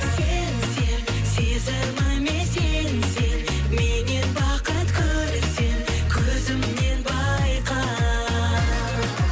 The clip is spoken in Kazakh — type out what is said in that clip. сен сен сезіміме сенсең меннен бақыт көрсең көзімнен байқа